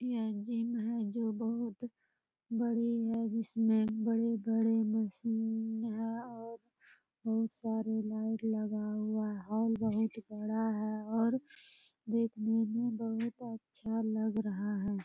यह जिम है जो बहुत बड़ी है इसमें बड़े-बड़े मशीन है और बहुत सारे लाइट लगा हुआ है हॉल बहुत-बड़ा है और देखने में बहुत अच्छा लग रहा है।